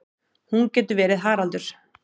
Hún getur verið Haraldur